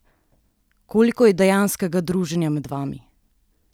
Koliko je dejanskega druženja med vami?